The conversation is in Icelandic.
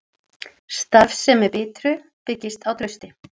Starfsemi Bitru byggist á trausti